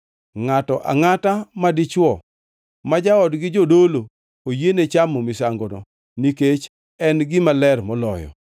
Ngʼato angʼata madichwo ma jaodgi jodolo oyiene chamo misangono, nikech en gima ler moloyo.